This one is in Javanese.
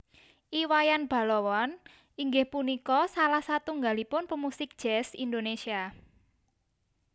I Wayan Balawan inggih punika salah satunggalipun pemusik Jazz Indonesia